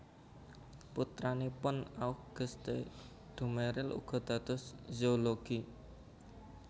Putranipun Auguste Duméril uga dados zoolog